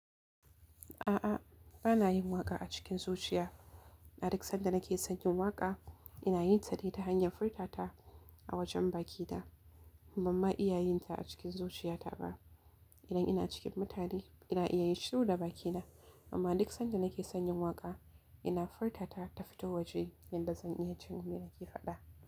A'a, bana yin waƙa a cikin zuciya. Aduk sanda nake sonyin waƙa, ina yinta dai ta hanyar furta ta a wajen bakina, ban ma iya yinta a cikin zuciyata ba. Idan ina cikin mutane, ina iya yin shiru da bakina, amma duk sanda na ke son yin waƙa, ina furta ta ta fito waje yadda zan iya jin me nake faɗa.